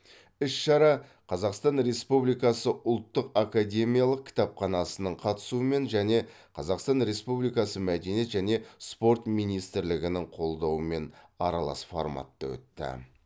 іс шара қазақстан республикасы ұлттық академиялық кітапханасының қатысуымен және қазақстан республикасы мәдениет және спорт министрлігінің қолдауымен аралас форматта өтті